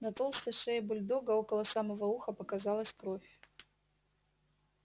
на толстой шее бульдога около самого уха показалась кровь